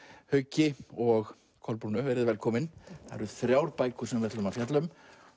Hauki og Kolbrúnu velkomin það eru þrjár bækur sem við ætlum að fjalla um